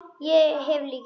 Ég hef lykil.